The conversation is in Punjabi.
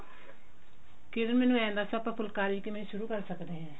ਕਿਰਣ ਮੈਨੂ ਏਂ ਦੱਸ ਆਪਾਂ ਫੁੱਲਕਾਰੀ ਕਿਵੇਂ ਸ਼ੂਰੁ ਕਰ ਸਕਦੇ ਏਂ